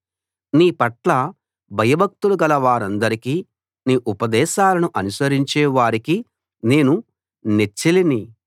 నీపట్ల భయభక్తులు గలవారందరికీ నీ ఉపదేశాలను అనుసరించే వారికీ నేను నెచ్చెలిని